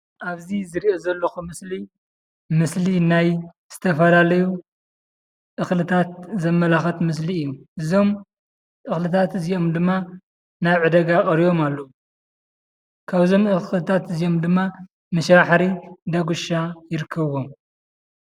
ኣብዚ ዝሪኦ ዘለኹ ምስሊ ምስሊ ናይ ዝተፈላለዩ እኽልታት ዘመላኽቲ ምስሊ እዩ፡፡ እዞም እኽልታት እዚኦም ድማ ናብ ዕዳጋ ቀሪቦም ኣለዉ፡፡ ካብዞም እኽልታት እዚኦም ድማ መሸባሕሪ፣ ዳጉሻ ይርከብዎም፡፡